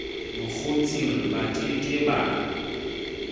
bokgotsing ba ke ke ba